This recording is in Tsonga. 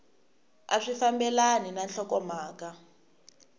a swi fambelani na nhlokomhaka